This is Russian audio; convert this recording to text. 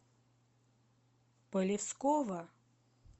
полевского